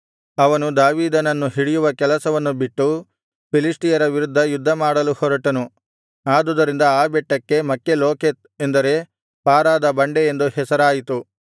ಅವನು ದಾವೀದನನ್ನು ಹಿಡಿಯುವ ಕೆಲಸವನ್ನು ಬಿಟ್ಟು ಫಿಲಿಷ್ಟಿಯರ ವಿರುದ್ಧ ಯುದ್ಧಮಾಡಲು ಹೊರಟನು ಆದುದರಿಂದ ಆ ಬೆಟ್ಟಕ್ಕೆ ಮಕ್ಹೆಲೋಕೆತ್ ಎಂದರೆ ಪಾರಾದ ಬಂಡೆ ಎಂದು ಹೆಸರಾಯಿತು